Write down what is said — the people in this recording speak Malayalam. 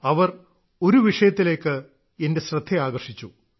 അവർ ഒരു വിഷയത്തിലേക്ക് എന്റെ ശ്രദ്ധ ആകർഷിച്ചു